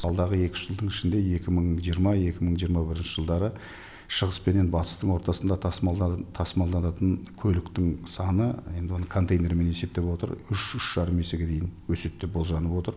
алдағы екі үш жылдың ішінде екі мың жирыма екі мың жиырма бірінші жылдары шығыс пенен батыстың ортасында тасымалданатын көліктің саны енді оны контейнермен есептеп отыр үш үш жарым есеге дейін өседі деп болжанып отыр